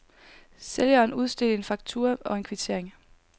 Sælgeren udstedte en faktura og en kvittering.